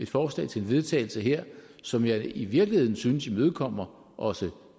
forslag til vedtagelse her som jeg i virkeligheden synes imødekommer også